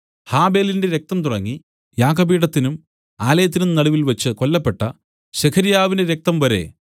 ഹാബെലിന്റെ രക്തം തുടങ്ങി യാഗപീഠത്തിനും ആലയത്തിനും നടുവിൽവച്ച് കൊല്ലപ്പെട്ട സെഖര്യാവിന്റെ രക്തംവരെ